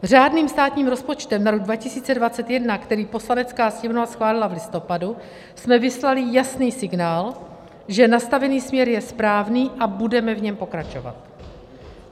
Řádným státním rozpočtem na rok 2021, který Poslanecká sněmovna schválila v listopadu, jsme vyslali jasný signál, že nastavený směr je správný, a budeme v něm pokračovat.